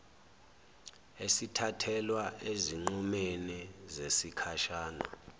esithathelwa ezinqumeni zesikhashana